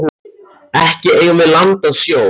Ekki eigum við land að sjó.